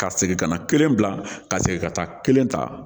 Ka segin ka na kelen bila ka segin ka taa kelen ta